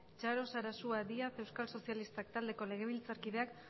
txaro sarasua díaz euskal sozialistak taldeko legebiltzakideak